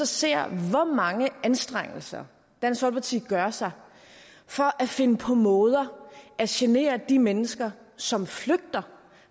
ser hvor mange anstrengelser dansk folkeparti gør sig for at finde på måder at genere de mennesker som flygter